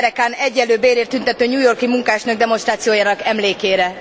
század derekán egyenlő bérért tüntető New York i munkásnők demonstrációjának emlékére.